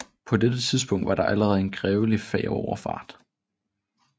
På dette tidspunkt var der allerede en grevelig færgeoverfart